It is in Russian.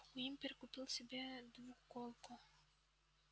уимпер купил себе двуколку